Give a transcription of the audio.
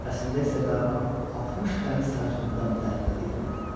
Əslində isə qaramaq 60 dəniz sajınından dərinə getmirdi.